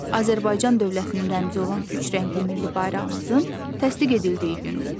Azərbaycan dövlətinin rəmzi olan üç rəngli milli bayrağımızın təsdiq edildiyi gündür.